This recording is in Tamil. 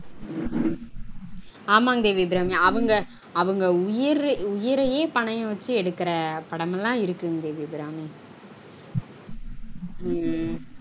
ஆமாங்க தேவியபிராமி அவங்க அவங்க உயிரயே பணயம் வச்சு எடுக்குற படம் லான் இருக்குங்க தேவிபிராமி